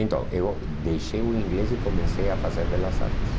Então, eu deixei o inglês e comecei a fazer belas artes.